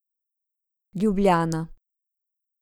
Ljubljana.